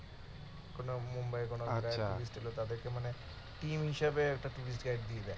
মুম্বাই তাদেরকে আচ্ছা মানে হিসেবে